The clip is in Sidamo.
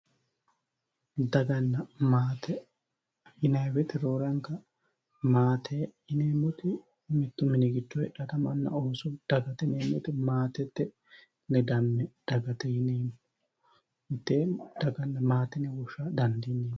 Daganna maate yinnanni woyte roore anga maate yineemmoti mitu mini giddo heedhanotta ama ooso galte maatete ledame dagate yineemmo maate dagate yinne woshsha dandiineemmo.